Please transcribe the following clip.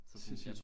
Det sindssygt